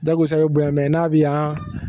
Dɔw ko Isa bɛ bonya n'a bi yan